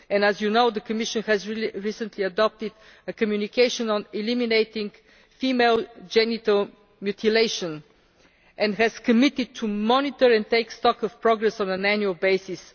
As you know, the Commission has recently adopted a Communication on eliminating female genital mutilation and has committed itself to monitoring and taking stock of progress on an annual basis.